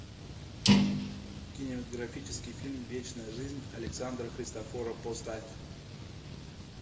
кинематографический фильм вечная жизнь александра христофорова поставь